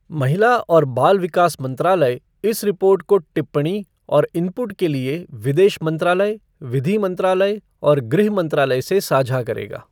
महिला और बाल विकास मंत्रालय इस रिपोर्ट को टिप्पणी और इनपुट के लिए विदेश मंत्रालय, विधि मंत्रालय और गृह मंत्रालय से साझा करेगा।